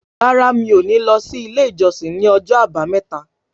Rárá mi ò ní lọ sí ilé ìjọsìn ní ọjọ́ àbámẹ́ta